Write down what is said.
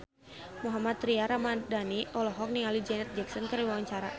Mohammad Tria Ramadhani olohok ningali Janet Jackson keur diwawancara